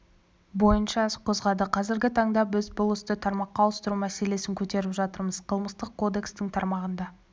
бойыншаіс қозғады қазіргі таңда біз бұл істі тармаққа ауыстыру мәселесін көтеріп жатырмыз қылмыстық кодекстің тармағында